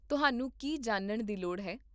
ਤੁਹਾਨੂੰ ਕੀ ਜਾਣਨ ਦੀ ਲੋੜ ਹੈ?